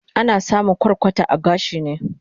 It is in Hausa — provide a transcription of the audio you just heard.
Ana samun kwarkwata a gashi ne